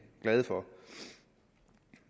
glade for